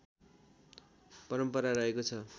परम्परा रहेको छ